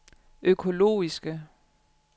økologiske